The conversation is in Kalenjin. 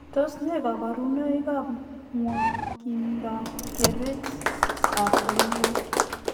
Tos nee kabarunoik ap nwokindoop kereetap oleloo?